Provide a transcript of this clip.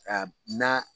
A na